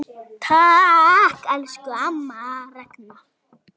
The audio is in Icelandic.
Takk, elsku amma Ragna.